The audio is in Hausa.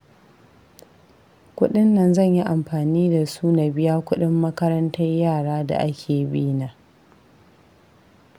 Kuɗin nan zan yi amfani da su na biya kuɗin makarantar yara da ake bi na